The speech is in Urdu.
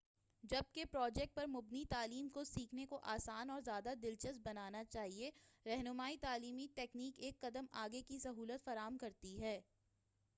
جبکہ پروجیکٹ پر مبنی تعلیم کو سیکھنے کو آسان اور زیادہ دلچسپ بنانا چاہیئے، رہنما‏ئی تعلیمی ٹیکنیک ایک قدم آگے کی سہولت فراہم کرتی ہے۔